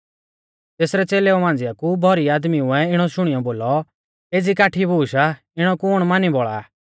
तेसरै च़ेलेऊ मांझ़िया कु भौरी आदमीउऐ इणौ शुणियौ बोलौ एज़ी काठी बूश आ इणौ कुण मानी बौल़ा आ